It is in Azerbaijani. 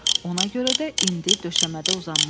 Ona görə də indi döşəmədə uzanmışdı.